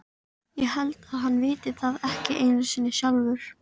Ég held að hann viti það ekki einu sinni sjálfur.